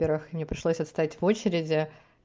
во-первых мне пришлось отстоять в очереди